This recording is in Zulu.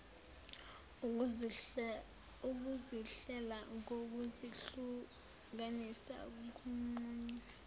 ukuzihlela ngokuzihlukanisa kunqunywa